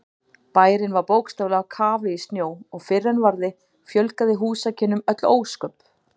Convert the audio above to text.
Bærinn var bókstaflega á kafi í snjó og fyrr en varði fjölgaði húsakynnum öll ósköp.